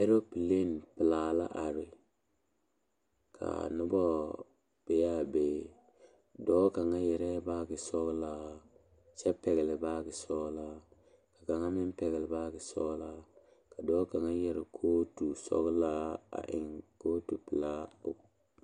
Alopelee pelaa la are ka noba be a be dɔɔ kaŋa yɛrɛɛ baage sɔglaa kyɛ pɛgle baagesɔglaa ka kaŋa meŋ pɛgle baagesɔglaa ka dɔɔ kaŋa yɛre kootusɔglaa a eŋ kootupelaa o.